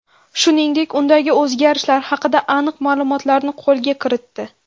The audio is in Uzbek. Shuningdek, undagi o‘zgarishlar haqida aniq ma’lumotlarni qo‘lga kiritdi.